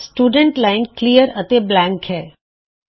student ਵਿਦਿਆਰਥੀ line ਵਿੱਚ ਸਾਰੇ ਅੱਖਰ ਸਾਫ ਹਨ ਅਤੇ ਇਹ ਖਾਲੀ ਹੈ